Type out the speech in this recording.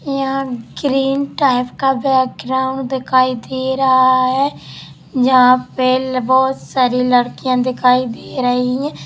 यहा green type का background दिखाई दे रहा है जहा पे बहुत सारी लड़कियां दिखाई दे रहीं हैं।